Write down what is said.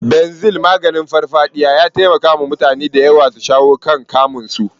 Banzel, maganin farfadiya, ya taimaka wa mutane da yawa su shawo kan kamun su.